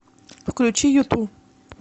включи юту